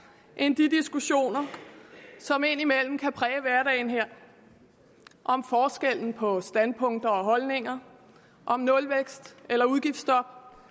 end de diskussioner som indimellem kan præge hverdagen her om forskellen på standpunkter og holdninger og om nulvækst eller udgiftstop